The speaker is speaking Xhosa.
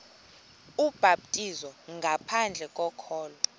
ubhaptizo ngaphandle kokholo